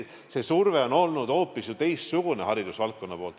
See surve on olnud hoopis teistsugune ju haridusvaldkonna poolt.